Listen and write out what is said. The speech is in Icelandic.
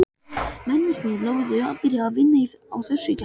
Mennirnir lofuðu að byrja að vinna að þessu í gær.